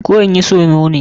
Koh in yi samo ne?